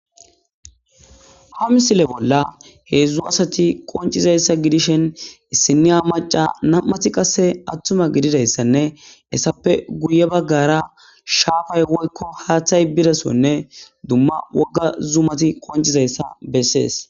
Ha misile bolla hezhzhu qoncizaysa gidishin issiniya macca nam'ati qasse atuma gididayisane etape guye baggara shapay woykko haththay biza sohone duma wogga zumati qoncizayta besesi.